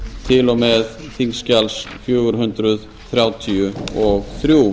til og með þingskjals fjögur hundruð þrjátíu og þrjú